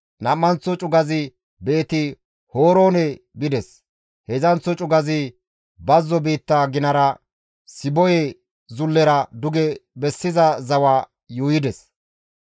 Nam7anththo cugazi Beeti-Horoone bides; heedzdzanththo cugazi bazzo biitta ginara Siboye zullera duge bessiza zawa yuuyides.